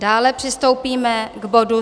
Dále přistoupíme k bodu